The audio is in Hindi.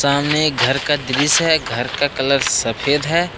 सामने एक घर का दृश्य है घर का कलर सफेद है।